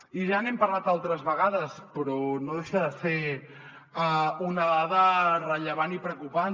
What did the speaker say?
i ja n’hem parlat altres vegades però no deixa de ser una dada rellevant i preocupant